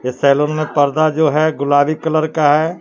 Salon में पर्दा जो है गुलाबी कलर का है।